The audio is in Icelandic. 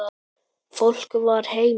Fólk var heima.